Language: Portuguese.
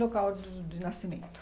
local de de nascimento?